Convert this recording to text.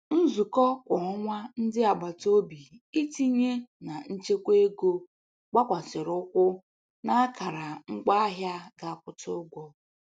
Nzukọ kwa ọnwa ndị agbataobi itinye na nchekwa ego gbakwasiri ụkwụ n'akara ngwaahịa ga akwụta ụgwọ.